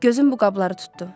Gözüm bu qabları tutdu.